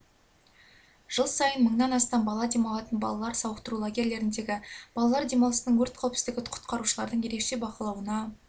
жыл сайын мыңнан астам бала демалатын балалар сауықтыру лагерлеріндегі балалар демалысының өрт қауіпсіздігі құтқарушылардың ерекше бақылауына